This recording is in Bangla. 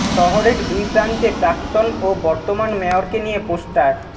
শহরের দুই প্রান্তে প্রাক্তন ও বর্তমান মেয়রকে নিয়ে পোস্টার